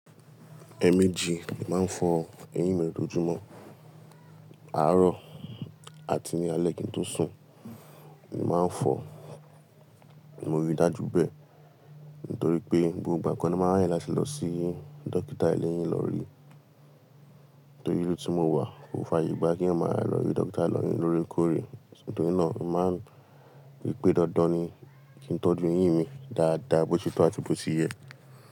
Ẹ̀ẹ̀mejì ni màá ń fọ eyín mi lójoojúmọ́, àárọ̀ àti ní alẹ́ kí n tó sùn. Ni màá ń fọ ní morí dájú bẹ́ẹ̀ nítorí pé gbogbo ìgbà kan ni màá ń rìn láti lọ sí dókítà ilé eyín lọ rí. Nítorí ilú tí mo wà kò fààyè gba kí èèyàn máa lọ rí dókítà eyín lóorekọ̀ore. Nítorí náà, màá ń rí pé dandan ni kí n tọ́jú eyín mi dáadáa bó ti tó àti bó ti yẹ.